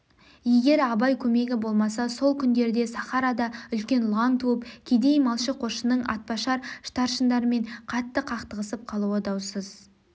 егер абай көмегі болмаса сол күндерде сахарада үлкен лаң туып кедей малшы-қосшының атбашар старшындармен қатты қақтығысып қалуы даусыз